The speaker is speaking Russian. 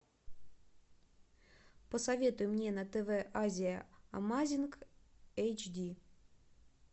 посоветуй мне на тв азия амазинг эйчди